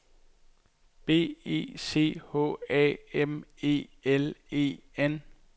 B E C H A M E L E N